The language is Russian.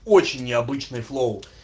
очень необычный флоу